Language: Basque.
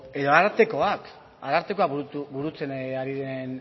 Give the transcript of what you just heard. edo arartekoak burutzen ari den